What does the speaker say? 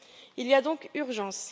Il y a donc urgence.